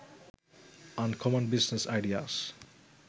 uncommon business ideas